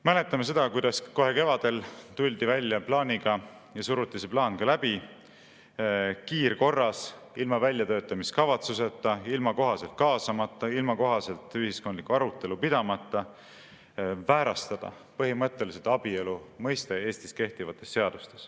Mäletame seda, kuidas kohe kevadel tuldi välja plaaniga – ja suruti see plaan ka läbi, kiirkorras, ilma väljatöötamiskavatsuseta, ilma kohaselt kaasamata, ilma kohaselt ühiskondlikku arutelu pidamata – väärastada põhimõtteliselt abielu mõiste Eestis kehtivates seadustes.